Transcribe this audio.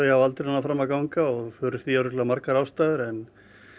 hafa aldrei náð fram að ganga og fyrir því eru örugglega margar ástæður en